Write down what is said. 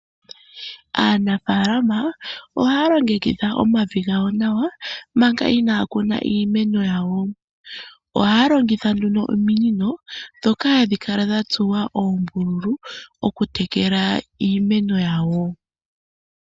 Aanafalama ohaa longekidha omavi gawo nawa, manga iina ya kuna iimeno yawo. ohaa longitha nduno ominino dhoka hadhi kala dha tsuwa oombululu okuteleka iimeno yawo.